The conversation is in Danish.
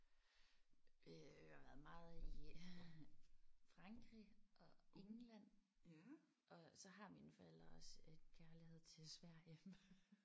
Øh jeg har været meget i Frankrig og England og så har mine forældre også et kærlighed til Sverige